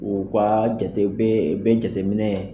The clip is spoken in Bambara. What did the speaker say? U ka jate be, be jateminɛ